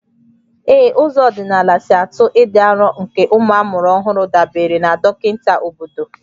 Ee, ụzọ ọdịnala si atụ ịdị arọ nke ụmụ amụrụ ọhụrụ dabere na dọkịta obodo